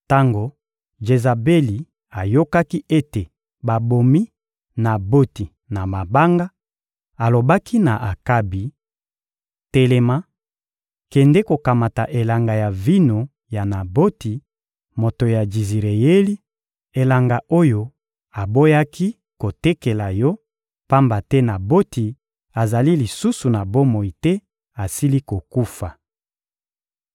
Tango Jezabeli ayokaki ete babomi Naboti na mabanga, alobaki na Akabi: «Telema, kende kokamata elanga ya vino ya Naboti, moto ya Jizireyeli, elanga oyo aboyaki kotekela yo, pamba te Naboti azali lisusu na bomoi te, asili kokufa.»